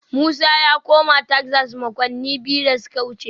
Musa ya koma Texas makonni biyu da suka wuce